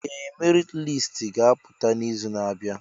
Ee! Merit listi ga-apụta n'izu na-abịa.